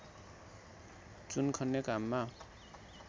चुन खन्ने काममा